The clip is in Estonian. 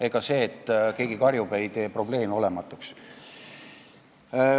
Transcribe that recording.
Ega see, et keegi karjub, ei tee probleemi olematuks.